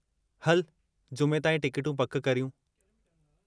हलु जुमे ताईं टिकटूं पकि करियूं?